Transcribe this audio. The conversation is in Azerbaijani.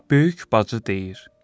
Böyük bacı deyir: